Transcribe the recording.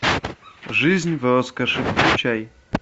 жизнь в роскоши включай